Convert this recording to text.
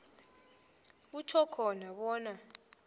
kutjho khona bona